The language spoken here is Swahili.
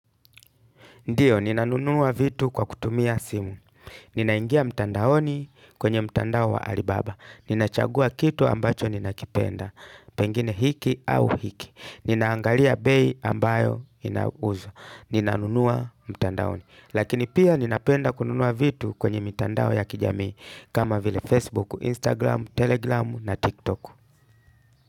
Ndiyo, ninanunua vitu kwa kutumia simu. Ninaingia mtandaoni kwenye mtandao wa alibaba. Ninachagua kitu ambacho ninakipenda. Pengine hiki au hiki. Ninaangalia bei ambayo inauzwa. Ninanunua mtandaoni. Lakini pia ninapenda kununua vitu kwenye mitandao ya kijami. Kama vile Facebook, Instagram, Telegram na TikTok.